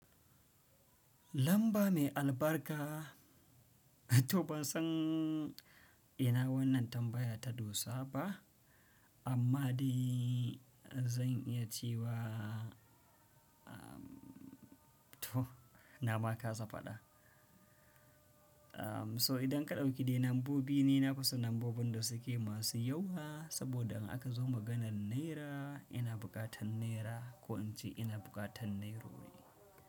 Lamba mai albarka, to ban san ina wannan tambaya ta dosa ba, amma dai zan iya cewa, to na ma kaza faɗa. In ka ɗauki dai lambobi masu yawa saboda idan akazo maganar naira ina buƙatar naira ko kuma ince nairori.